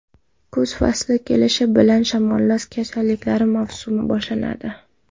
Kuz fasli kelishi bilan shamollash kasalliklari mavsumi boshlanadi.